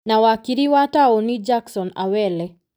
Na wakiri wa taũni Jackson Awele.